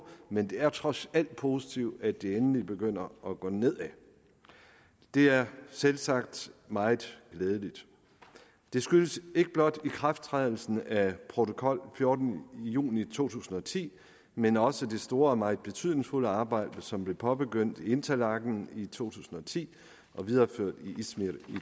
men det er trods alt positivt at det endelig begynder at gå nedad det er selvsagt meget glædeligt det skyldes ikke blot ikrafttrædelsen af protokol fjorten juni to tusind og ti men også det store og meget betydningsfulde arbejde som blev påbegyndt i interlaken i to tusind og ti og videreført i izmir i